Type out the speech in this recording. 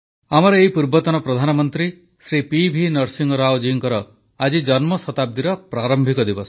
ଆମର ଏଇ ପୂର୍ବତନ ପ୍ରଧାନମନ୍ତ୍ରୀ ଶ୍ରୀ ପି ଭି ନରସିଂହରାଓ ଜୀଙ୍କର ଆଜି ଜନ୍ମଶତାବ୍ଦୀର ପ୍ରାରମ୍ଭିକ ଦିବସ